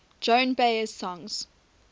joan baez songs